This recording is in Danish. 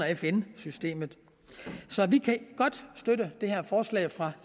fn systemet så vi kan godt støtte det her forslag fra